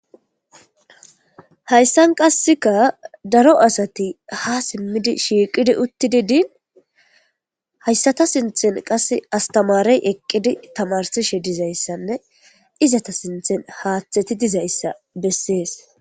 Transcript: Hayssan qassika daro asati ha simmidi shiiqidi uttidi diini hayssata sinththen qassi astamaarey eqqidi tamarsishe dizayssanne izeta sinththen haththeti dizayssa bessees.